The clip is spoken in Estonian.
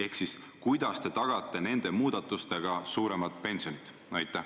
Ehk siis: kuidas te tagate nende muudatustega suuremad pensionid?